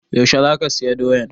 Yaushe za ka saya doyan?